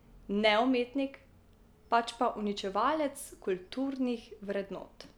Ne umetnik, pač pa uničevalec kulturnih vrednot.